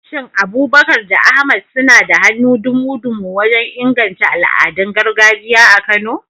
Shin Abubakar da Ahmad suna da hannu dumu-dumu wajen inganta al'adun gargajiya a Kano?